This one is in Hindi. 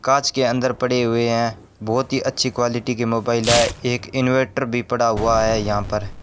कांच के अंदर पड़े हुए हैं बहुत ही अच्छी क्वालिटी के मोबाइल है एक इनवर्टर भी पड़ा हुआ है यहां पर।